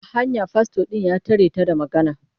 A hanya fastor ɗin ya tare ta da magana.